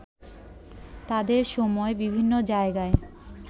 তাদের সময় বিভিন্ন জায়গায়